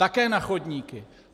Také na chodníky.